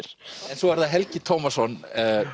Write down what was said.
svo er það Helgi Tómasson